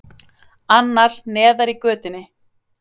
Annar, neðar í götunni.